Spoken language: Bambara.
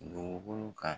Dugukolo kan